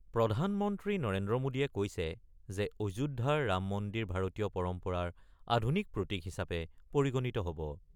প্ৰধানমন্ত্ৰী নৰেন্দ্ৰ মোডীয়ে কৈছে যে অযোধ্যাৰ ৰাম মন্দিৰ ভাৰতীয় পৰম্পৰাৰ আধুনিক প্ৰতীক হিচাপে পৰিগণিত হ'ব ।